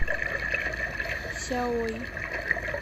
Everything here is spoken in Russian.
сяои